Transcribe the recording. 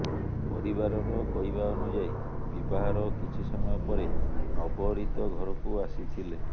ପରିବାରର କହିବା ଅନୁଯାୟୀ ବିବାହର କିଛି ସମୟ ପରେ ନବରିତ ଘରକୁ ଆସିଥିଲେ